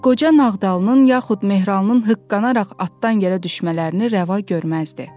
Və qoca Nağdalının, yaxud Mehralının hıqqanaraq atdan yerə düşmələrini rəva görməzdi.